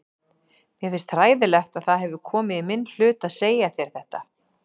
Mér finnst hræðilegt að það hefur komið í minn hlut að segja þér þetta.